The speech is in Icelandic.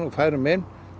og færum inn